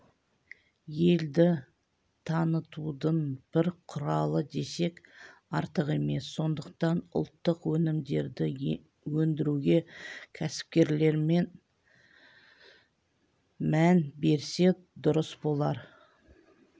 елді танытудың бір құралы десек артық емес сондықтан ұлттық өнімдерді өндіруге кәсіпкерлер мән берсе дұрыс болар